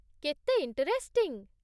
କେତେ ଇଣ୍ଟରେଷ୍ଟିଂ!